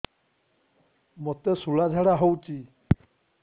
ମୋତେ ଶୂଳା ଝାଡ଼ା ହଉଚି